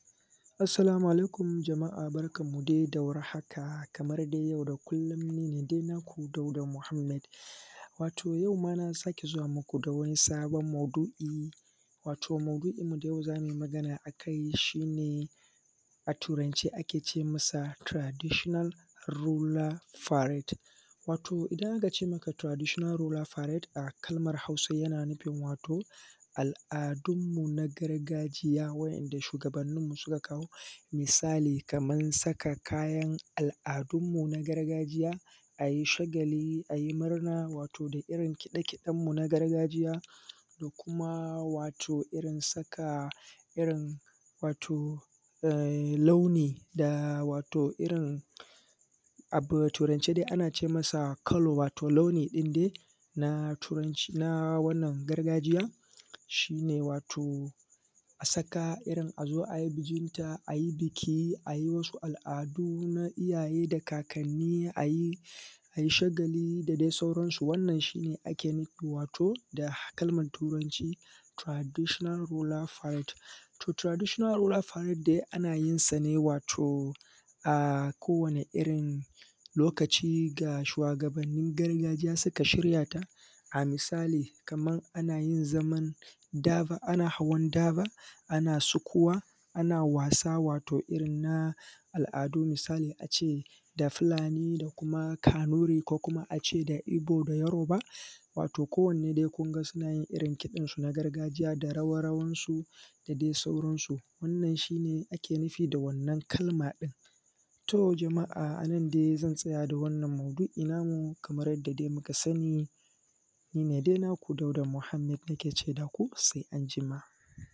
assalamu alaikum jama’a barkan ku da warhaka Kaman dai kullum nine dai naku dauda muhammad wato ʤau ma na sake zuwa muku da wani sabon maudu’I wato maudu’in da zamuyi magana akai shine a turan ce akece masa traditional rural parade wato idan aka ce maka tiradishinal rula farad a kalman hausa tana nufin wato al’adunmu na gargajiya wanda shugabannin mu suka kawo misali Kaman saka kayan al’adunmu na gargajiya ayi shagali, ayi murna wato da irrin kide kiden mu na gargajiya da kuma wato saka irrin launi da wato, a turan ce dai an ace masa kalo wato launi din dai na turanci na wannan gargajiya shine wato asaka irrin azo ai wasu al’adu na iyyaye da ka kanni ayi ai shagali da dai sauran su wannan shine wannan shine ake nufi da kalman turanci traditional rural parade tor traditional rural parade dai ana yinsa ne wato ko wane irrin lokaci ga shuwa gabannin gargajiya suka shirya ta misali anyi zaman daba ana hawan daba ana sukuwa ana wasa wato irrin na al’adu misali ace da fulani da kuma kanuri ko kuma ace ibo da yaroba wato ko wane dai kuˊnga sunayin irrin kidan sun a gargajiya da rawa rawan su da dai sauran su wannan shine ake nufi da wannan kalma din to jama’a anan dai zan tsaya da wannan maudu’I namu Kamar yadda dai kuka sani nine dai naku dauda muhammad nake ce da ku sai anjima.